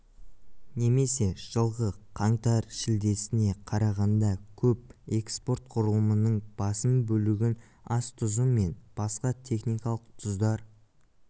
немесе жылғы қаңтар-шілдесіне қарағанда көп экспорт құрылымының басым бөлігін ас тұзы мен басқа техникалық тұздар